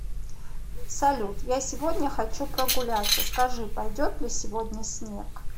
салют я сегодня хочу прогуляться скажи пойдет ли сегодня снег